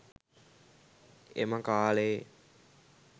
එම කාලයේ